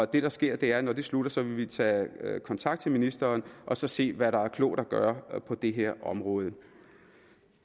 det der sker er at når det slutter vil vi tage kontakt til ministeren og så se hvad der er klogt at gøre på det her område